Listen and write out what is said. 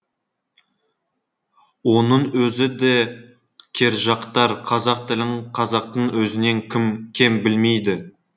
оның өзі де кержақтар қазақ тілін қазақтың өзінен кім кем білмейді